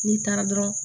N'i taara dɔrɔn